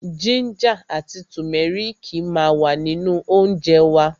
Jínjà àti tùmẹ́rìkì ma wà nínú óńjẹ wa.